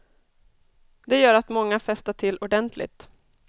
Det gör att många festar till ordentligt.